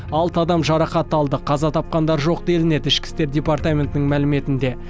алты адам жарақат алды қаза тапқандар жоқ делінеді ішкі істер департаментінің мәліметінде